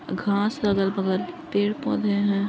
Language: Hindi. घास अगल-बगल पेड़ -पौधे हैं --